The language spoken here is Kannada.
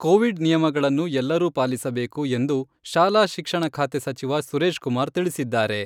ಕೋವಿಡ್ ನಿಯಮಗಳನ್ನು ಎಲ್ಲರೂ ಪಾಲಿಸಬೇಕು ಎಂದು ಶಾಲಾ ಶಿಕ್ಷಣ ಖಾತೆ ಸಚಿವ ಸುರೇಶ್ ಕುಮಾರ್ ತಿಳಿಸಿದ್ದಾರೆ.